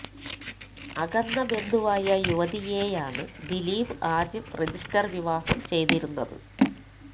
അകന്ന ബന്ധുവായ യുവതിയെയാണ് ദിലീപ് ആദ്യം രജിസ്റ്റർ വിവാഹം ചെയ്തിരുന്നത്